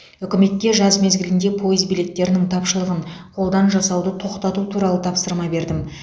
үкіметке жаз мезгілінде пойыз билеттерінің тапшылығын қолдан жасауды тоқтату туралы тапсырма бердім